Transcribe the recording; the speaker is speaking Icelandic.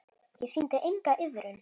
Ég sýndi enga iðrun.